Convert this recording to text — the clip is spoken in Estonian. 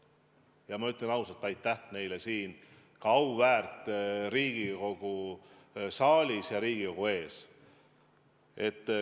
Ja ma ütlen ausalt aitäh neile ka siin auväärt Riigikogu saalis, Riigikogu ees.